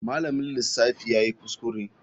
Malamin lissafi yayi kuskure.